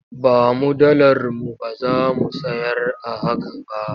Ba mu dalar mu ba za mu sayar a haka ba.